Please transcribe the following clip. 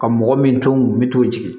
Ka mɔgɔ min to min t'o jigi